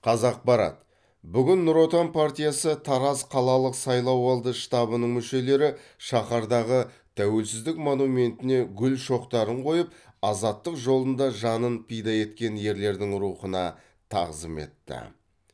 қазақпарат бүгін ңұр отан партиясы тараз қалалық сайлауалды штабының мүшелері шаһардағы тәуелсіздік монументіне гүл шоқтарын қойып азаттық жолында жанын пида еткен ерлердің рухына тағзым етті